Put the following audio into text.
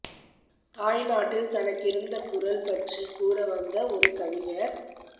தாய் நாட்டில் தனக்கிருந்த குரல் பற்றி கூற வந்த ஒரு கவிஞர்